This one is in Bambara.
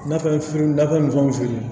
Nafɛn fitininnaw fini